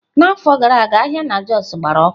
N'afọ gara aga ahịa na Jos gbara ọkụ.